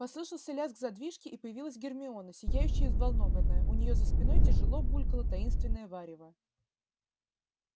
послышался лязг задвижки и появилась гермиона сияющая и взволнованная у неё за спиной тяжело булькало таинственное варево